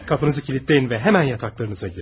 Qapınızı kilidləyin və dərhal yataqlarınıza girin.